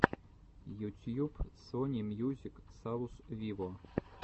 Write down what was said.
ютьюб сони мьюзик саус виво